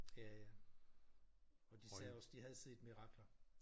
Ja ja og de sagde også de havde set mirakler